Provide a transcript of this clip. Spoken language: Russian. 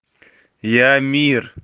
я мир